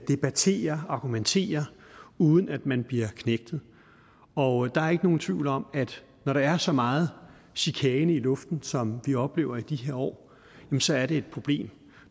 debattere argumentere uden at man bliver knægtet og der er ikke nogen tvivl om at når der er så meget chikane i luften som vi oplever i de her år så er det et problem